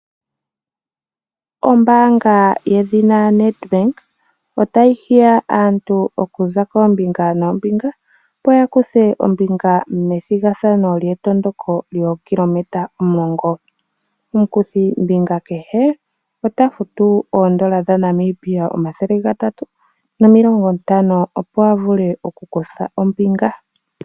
Ombaanga yedhina NedBank otayi hiya aantu okuza koombinga noombinga opo ya kuthe ombinga methigathano lyetondoko lyookilometa omulongo. Omukuthimbinga kehe ota futu oodola dhaNamibia omathele gatatu opo avule okukutha ombinga.